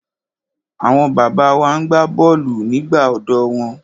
Àwọn bàbá wa na gbá bọ́ọ̀lù nígbà ọ̀dọ́ wọn.